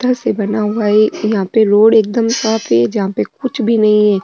पत्थर से बना हुआ है यहाँ पे रोड एकदम साफ है जहा पे कुछ भी नही है।